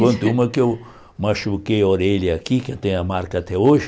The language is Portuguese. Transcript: Conto uma que eu machuquei a orelha aqui, que tem a marca até hoje.